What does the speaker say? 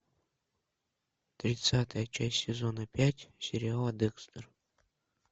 тридцатая часть сезона пять сериала декстер